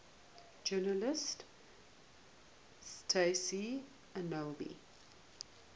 journalist tayseer allouni